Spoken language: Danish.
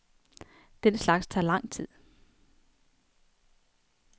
Den slags tager lang tid.